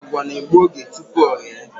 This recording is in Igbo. Àgwà na-egbu oge tupu o ghe